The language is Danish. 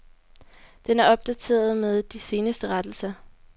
Den er opdateret med de seneste rettelser.